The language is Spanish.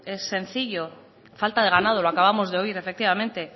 es sencillo falta de ganado lo acabamos de oír efectivamente